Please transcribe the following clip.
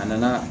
A nana